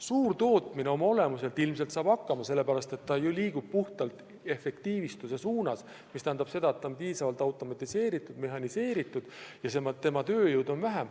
Suurtootmine oma olemuselt ilmselt saab hakkama, sest ta liigub puhtalt efektiivistamise suunas, mis tähendab seda, et tootmine on piisavalt automatiseeritud ja mehhaniseeritud ja vajab vähem tööjõudu.